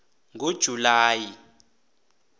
ngojulayi